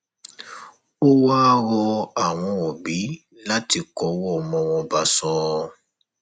ó wáá rọ àwọn òbí láti kọwọ ọmọ wọn bọsọ